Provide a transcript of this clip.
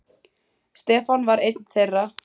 Stefán var einn þeirra.